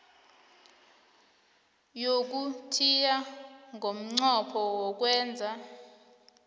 yokuthiya ngomnqopho wokwenza